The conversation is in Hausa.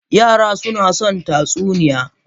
Yara suna son tatsuniya.